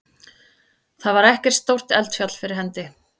Þar var ekkert stórt eldfjall fyrir hendi.